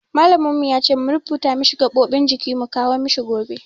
Malamin mu ya ce mu rubuto masa gaɓoɓin jiki mu kawo mishi gobe.